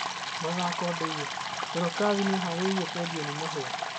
(Mathako Ndeiya) Dorokathi nĩaharĩirio kwendio nĩ Mahia.